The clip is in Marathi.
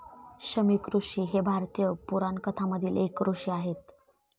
शमिकऋषी हे भारतीय पुराणकथामधील एक ऋषी आहेत.